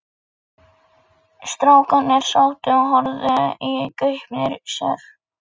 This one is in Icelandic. Strákarnir sátu og horfðu í gaupnir sér.